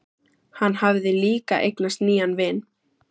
Hann hafði líka eignast nýjan vin.